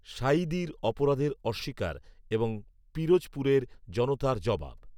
সাঈদীর অপরাধের অস্বীকার এবং পিরোজপুরের জনতার জবাব